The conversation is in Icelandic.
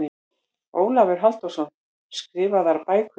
Ólafur Halldórsson, Skrifaðar bækur